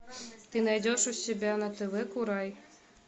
ты найдешь у себя на тв курай